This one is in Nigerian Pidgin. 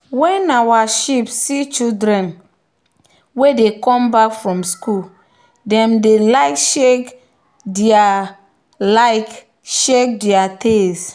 when our sheep see children wey dey come back from school dem dey like shake their like shake their tails.